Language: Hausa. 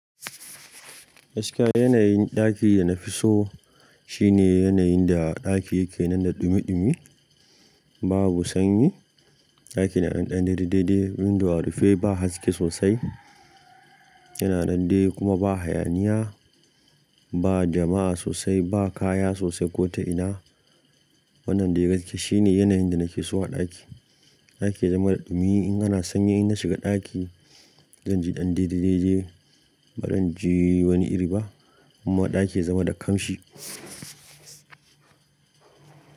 Gaskiya yanayin ɗakin da na fi so shine yanayin da ɗaki yake nan da ɗumi ɗumi, babu sanyi. Ɗaki na ɗan dai-dai, dai-dai windo arufe ba haske sosai, yana nandai kuma ba hayaniya, ba jama'a sosai, ba kaya sosai ko ta ina. Wannan dai gaskiya shine yanayin da nake so a ɗaki. Ɗaki ya zama da ɗumi in ana sanyi in na shiga ɗaki, zan ji ɗan dai-dai dai-dai ba zan ji wani iri ba kuma ɗaki ya zama da kamshi.